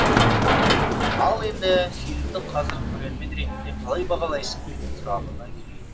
ал енді фильмді қазір көрермен ретінде қалай бағалайсың деген сұрағыңа келейін